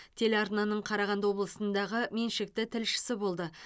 телеарнаның қарағанды облысындағы меншікті тілшісі болды